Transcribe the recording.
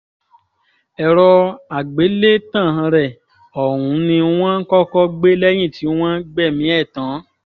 èrò àgbélétàn rẹ̀ ọ̀hún ni wọ́n kọ́kọ́ gbé lẹ́yìn tí wọ́n gbẹ̀mí ẹ̀ tán